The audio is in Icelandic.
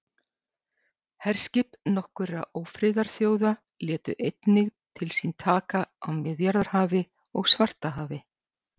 herskip nokkurra ófriðarþjóða létu einnig til sín taka á miðjarðarhafi og svartahafi